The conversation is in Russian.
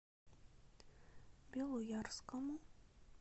белоярскому